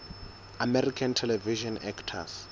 american television actors